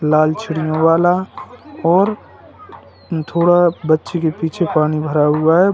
लाल चिड़ियों वाला और थोड़ा बच्चे के पीछे पानी भरा हुआ है।